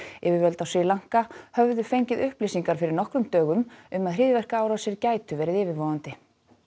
yfirvöld á Sri Lanka höfðu fengið upplýsingar fyrir nokkrum dögum um að hryðjuverkaárásir gætu verið yfirvofandi